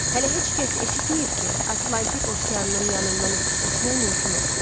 Hələ heç kəs eşitməyib ki, Atlantik okeanının yanından ötüb keçmək mümkün olsun.